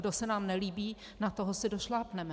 Kdo se nám nelíbí, na toho si došlápneme!